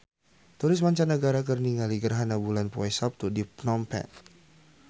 Turis mancanagara keur ningali gerhana bulan poe Saptu di Phnom Penh